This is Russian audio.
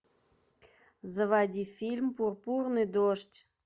заводи фильм пурпурный дождь